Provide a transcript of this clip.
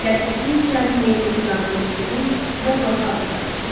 Ləpirçi cəld Meyblı qucağına götürdü və blokauza qaçdı.